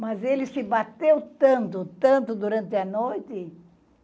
Mas ele se bateu tanto, tanto durante a noite.